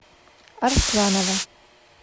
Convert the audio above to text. арсланова